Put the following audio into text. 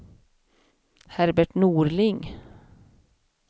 Herbert Norling